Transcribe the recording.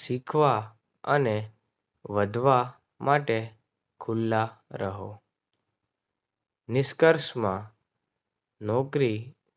શીખવા અને વટવા માટે ખુલ્લા રહો. નિષ્કર્ષમાં નોકરી